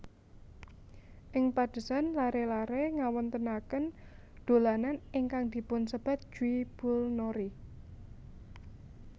Ing padesan laré laré ngawontenaken dolanan ingkang dipunsebat jwibulnori